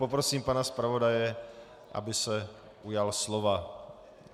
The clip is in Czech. Poprosím pana zpravodaje, aby se ujal slova.